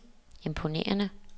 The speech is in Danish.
imponerende